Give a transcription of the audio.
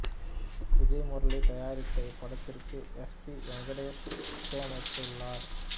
விஜய் முரளி தயாரித்த இப்படத்திற்கு S P Venkatesh இசையமைத்துளார்